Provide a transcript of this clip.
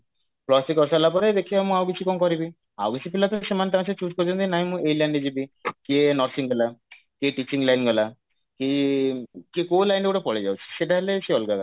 plus three କରିସାରିଲା ପରେ ଦେଖିବା ମୁଁ ଆଉ କିଛି କଣ କରିବି ଆଉ କିଛି ପିଲା ତ ସେମାନେ ତାଙ୍କର ସେ choose କରିଦିଅନ୍ତି ନାଇଁ ମୁଁ ଏଇ line ରେ ଯିବି କିଏ nursing ପିଲା କିଏ teaching line ଗଲା କି କିଏ କଉ line ରେ ଗୋଟେ ପଳେଇଯାଉଛି ସେଇଟା ହେଲେ ସେ ଅଲଗା କଥା